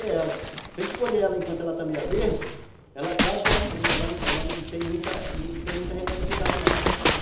colher Se a gente colher ela enquanto ela está meio verde, ela, claro que ela não tem muita rentabilidade não, na produção.